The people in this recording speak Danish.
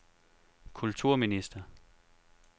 kulturminister